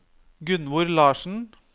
Gunnvor Larssen